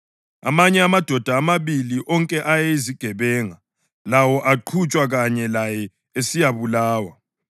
Amanye amadoda amabili, onke ayeyizigebenga, lawo aqhutshwa kanye laye esiyabulawa.